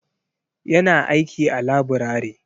Ya na aiki a laburare.